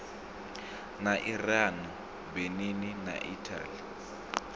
na iran benin na italy